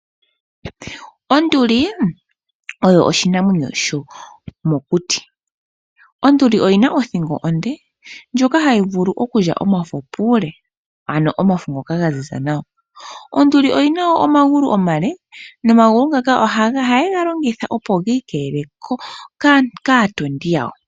Onduli oyo oshinamwenyo shomokuti. Onduli oyina othingo onde, ndjoka hayi vulu okulya omafo puule ano omafo ngoka ga zi za nawa. Onduli oyina woo omagulu omale, nomagulu ngaka ohage galongitha opo giikeelele kaatondi yawo.